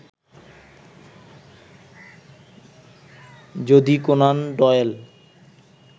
যদি Conan Doyle